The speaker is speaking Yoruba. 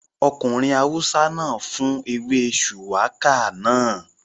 Ọkùnrin awúsá náà fún ewé shùwákà náà